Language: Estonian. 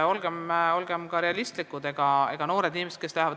Olgem ka realistlikud.